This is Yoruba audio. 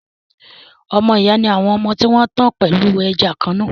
Ọmọ ìyá ni àwọn ọmọ tí wọn tan pẹ̀lú ẹ̀jẹ̀ kan-náà